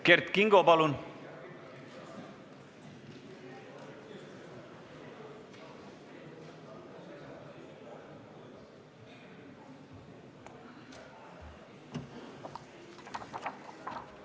Kert Kingo, palun!